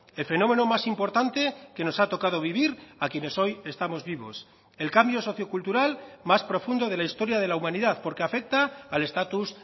el fenómeno más importante que nos ha tocado vivir a quienes hoy estamos vivos el cambio socio cultural más profundo de la historia de la humanidad porque afecta al estatus